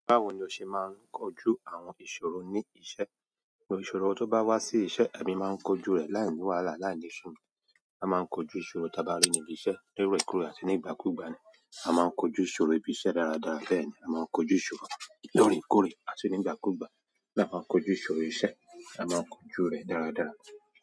Báwo ni o ṣe máa ń kojú àwọn ìṣòro ní iṣẹ́? Ìṣòro tó bá wá sí iṣẹ́, èmi máa ń kojú rẹ̀ láì ní wàhálà, láì ní sùn. A máa ń kojú ìṣòro tí a bá rí ní ibi iṣẹ́ lóríkòrè àti nígbàkúgbà ni. A máa ń kojú ìṣòro ibi iṣẹ́ dáradára bẹ́ẹ̀ ni. A máa ń kojú ìṣòro lóòrèkóòrè àti nígbàkúgbà bí a báa ń kojú ìṣòro iṣẹ́, a máa ń kojú rẹ̀ dáradára.